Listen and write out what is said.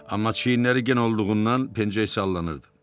Amma çiyinləri gen olduğundan pencək sallanırdı.